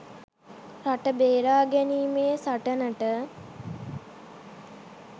රට බේරා ගැනීමේ සටනට